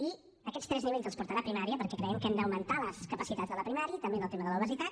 i aquests tres nivells els portarà primària perquè creiem que hem d’augmentar les capacitats de la primària també en el tema de l’obesitat